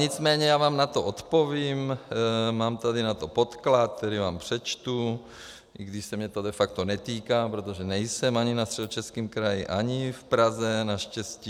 Nicméně já vám na to odpovím, mám tady na to podklad, který vám přečtu, i když se mě to de facto netýká, protože nejsem ani na Středočeském kraji, ani v Praze naštěstí.